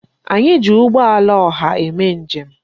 Anyị ji ụgbọala ọha eme njem.